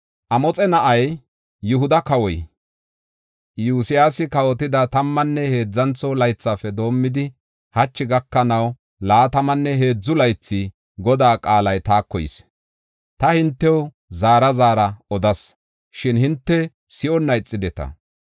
Amoxe na7ay, Yihuda kawoy, Iyosyaasi kawotida tammanne heedzantho laythafe doomidi, hachi gakanaw, laatamanne heedzu laythi Godaa qaalay taako yis. Ta hintew zaara zaara odas; shin hinte si7onna ixideta.